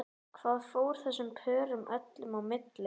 Hvað fór þessum pörum öllum á milli?